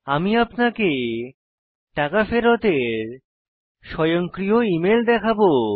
আমি আপনাকে টাকা ফেরতের স্বয়ংক্রিয় ইমেল দেখাবো